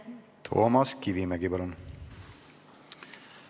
Toomas Kivimägi, palun!